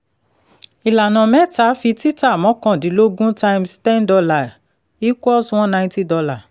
ìlànà mẹ́ta fi títà mọ́kàndínlógún times ten dollar equals one ninety dollar